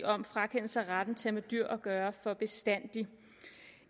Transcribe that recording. om frakendelse af retten til at have med dyr at gøre for bestandig